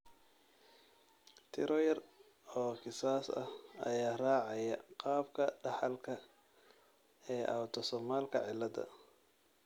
Tiro yar oo kiisas ah ayaa raacaya qaabka dhaxalka ee autosomalka cilada.